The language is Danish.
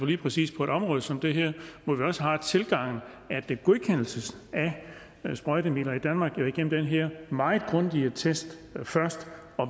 lige præcis på et område som det her hvor vi også har den tilgang at godkendelsen af sprøjtemidler i danmark jo er igennem den her meget grundige test først